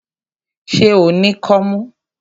Ṣé o ní kọ́mú?